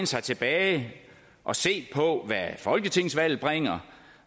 sig tilbage og se på hvad folketingsvalget bringer